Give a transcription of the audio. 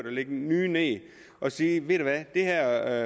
og lægge nye ned at sige det her